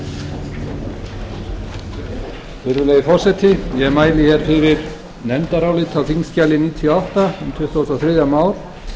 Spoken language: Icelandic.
virðulegi forseti ég mæli fyrir nefndaráliti á þingskjali níutíu og átta um tuttugasta og þriðja mál